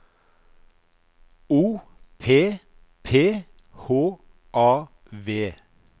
O P P H A V